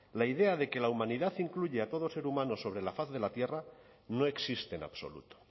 la idea de que la humanidad incluye a todo ser humano sobre la faz de la tierra no existe en absoluto